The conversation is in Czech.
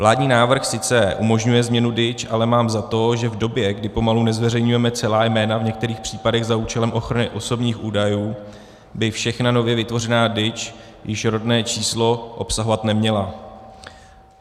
Vládní návrh sice umožňuje změnu DIČ, ale mám za to, že v době, kdy pomalu nezveřejňujeme celá jména v některých případech za účelem ochrany osobních údajů, by všechna nově vytvořená DIČ již rodné číslo obsahovat neměla.